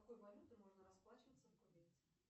какой валютой можно расплачиваться в кувейте